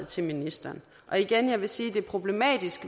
til ministeren og igen vil jeg sige at det er problematisk